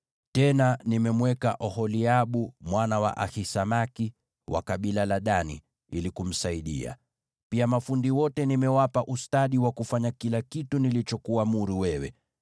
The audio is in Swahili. Tena nimemteua Oholiabu mwana wa Ahisamaki, wa kabila la Dani, ili kumsaidia. Pia mafundi wote nimewapa ustadi wa kutengeneza kila kitu nilichokuamuru wewe: